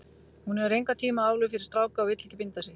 Hún hefur engan tíma aflögu fyrir stráka og vill ekki binda sig.